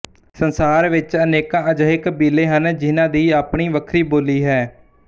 ਸੰਸਾਰ ਵਿੱਚ ਅਨੇਕਾ ਅਜਿਹੇ ਕਬੀਲੇ ਹਨ ਜਿਹਨਾਂ ਦੀ ਆਪਣੀ ਵੱਖਰੀ ਬੋਲੀ ਹੈ